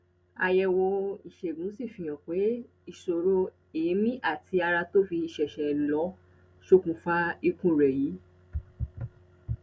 àyẹwò ìṣègùn sì fihàn pé ìṣòro èémí àti ara tó fi ṣẹṣẹ lọ sókunfà ikú rẹ yìí